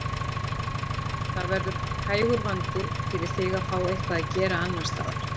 Það verður hægur vandi fyrir þig að fá eitthvað að gera annars staðar.